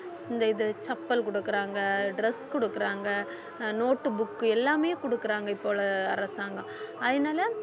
இந்த இது chappal கொடுக்குறாங்க dress கொடுக்குறாங்க அஹ் note book எல்லாமே கொடுக்குறாங்க இப்போ உள்ள அரசாங்கம் அதனாலே